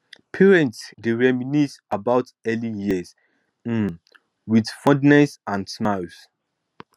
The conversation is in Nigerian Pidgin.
parents dey reminisce about early years um with fondness and smiles